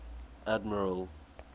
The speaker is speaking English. admiral